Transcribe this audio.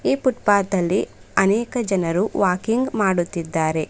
E footpath ಅಲ್ಲಿ ಅನೇಕ ಜನರು ವಾಕಿಂಗ್ ಮಾಡುತಿದ್ದಾರೆ.